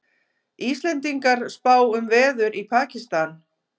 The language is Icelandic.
Íslendingar spá um veður í Pakistan